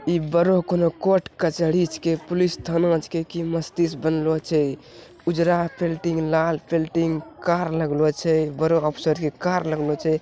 इ बड़ो कोनो कोर्ट कचहेरी के पुलिस थानो के की बनलो छे | उजरा पेंटिंग लाल पेंटिंग कार लागलो छे एक बड़ो ऑफिसर के कार लगलो छे ।